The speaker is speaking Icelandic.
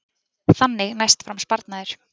Þannig næst fram sparnaður